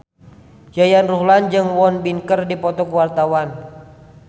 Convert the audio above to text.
Yayan Ruhlan jeung Won Bin keur dipoto ku wartawan